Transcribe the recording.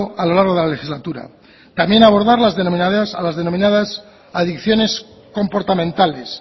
a lo largo de la legislatura también abordar las denominadas adicciones comportamentales